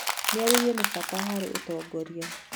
Mĩario nĩ bata harĩ ũtongoria.